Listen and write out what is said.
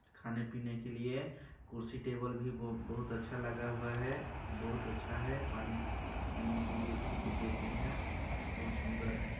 खाने - पीने के लिए कुर्सी टेबल भी ब -बहुत अच्छा लगा हुआ है बहुत अच्छा है पानी प - पीने के लिए भूत देते हैं बहुत सुंदर है।